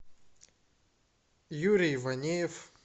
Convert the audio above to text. юрий иванеев